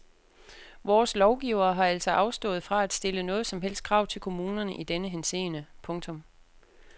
Vores lovgivere har altså afstået fra at stille noget som helst krav til kommunerne i denne henseende. punktum